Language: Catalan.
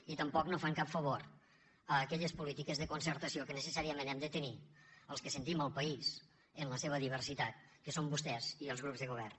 i tampoc no fan cap favor a aquelles polítiques de concertació que necessàriament hem de tenir els que sentim el país en la seva diversitat que són vostès i els grups de govern